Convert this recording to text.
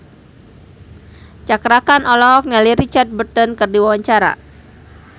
Cakra Khan olohok ningali Richard Burton keur diwawancara